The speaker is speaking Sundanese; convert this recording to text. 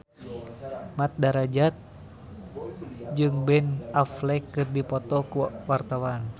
Mat Drajat jeung Ben Affleck keur dipoto ku wartawan